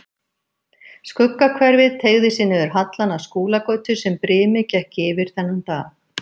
Skuggahverfið teygði sig niður hallann að Skúlagötu sem brimið gekk yfir þennan dag.